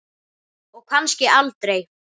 Og kannski aldrei.